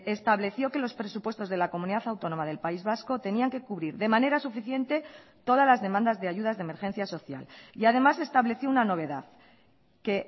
estableció que los presupuestos de la comunidad autónoma del país vasco tenían que cubrir de manera suficiente todas las demandas de ayudas de emergencia social y además estableció una novedad que